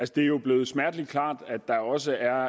det er jo blevet smertelig klart at der også er